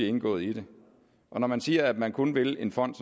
indgået i det når man siger at man kun vil en fond